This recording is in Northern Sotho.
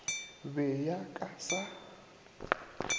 be ya ka ya sa